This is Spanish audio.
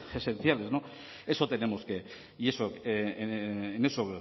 esenciales no eso tenemos que y en eso